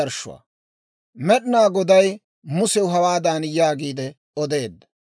Med'inaa Goday Musew hawaadan yaagiide odeedda;